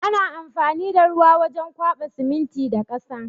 Ana amfani da ruwa wurin kwaɓa siminti da ƙasa.